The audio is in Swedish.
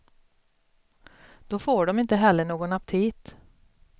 Då får de inte heller någon aptit.